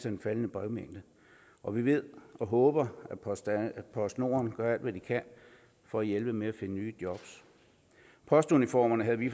af den faldende brevmængde og vi ved og håber at postnord gør alt hvad de kan for at hjælpe med at finde nye jobs postuniformerne havde vi